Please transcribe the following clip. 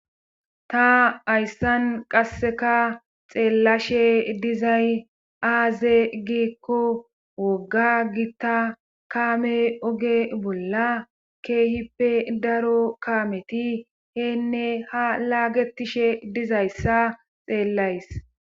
ta ayssan qasseka xeellashe dizay aaze giikko wogga gitta kaame oge bolla keehippe daro kaameti heenne ha laagetishe dizayssa xeellays.